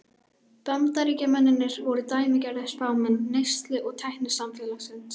Bandaríkjamennirnir voru dæmigerðir spámenn neyslu- og tæknisamfélagsins.